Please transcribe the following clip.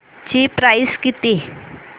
ची प्राइस किती